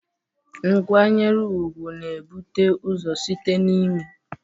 Nkwanyere ugwu na-ebute ụzọ site n'ime